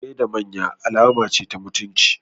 Gaida manya alama ce ta mutunci.